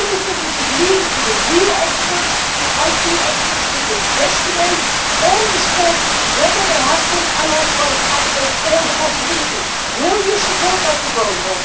Do you not think we should leave it to the real experts the IT experts to investigate on the spot whether there has been unauthorised access or the possibility thereof? Will you support that proposal?